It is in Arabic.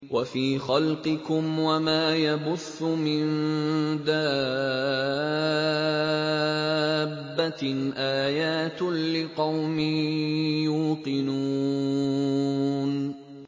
وَفِي خَلْقِكُمْ وَمَا يَبُثُّ مِن دَابَّةٍ آيَاتٌ لِّقَوْمٍ يُوقِنُونَ